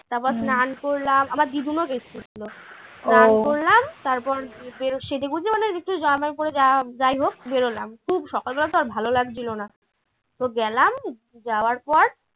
তারপর স্নান করলাম আমার দিগুলোও গেছিল স্নান করলাম তারপর সেজেগুজে মানে একটু যাই হোক বেরোলাম খুব সকাল বেলা তো আর ভালো লাগছিল না। তো গেলাম যাওয়ার পর